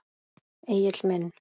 Egill minn.